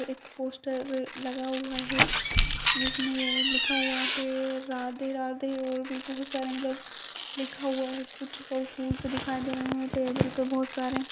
और एक पोस्टर लगा हुआ है जिसमें ये लिखा हुआ है राधे-राधे और भी बहुत सारे मतलब लिखा हुआ है कुछ और फूलों से दिखाई दे रहे हैं टेबल पर बहुत सारे।